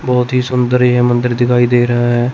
बहोत ही सुंदर ये मंदिर दिखाई दे रहा है।